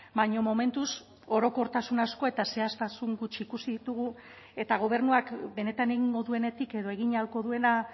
baina momentuz orokortasun asko eta zehaztasun gutxi ikusi ditugu eta gobernuak benetan egingo duenetik edo egin ahalko duena